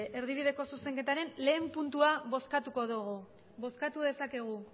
bale erdibideko zuzenketaren batgarrena puntua bozkatuko dugu bozkatu dezakegu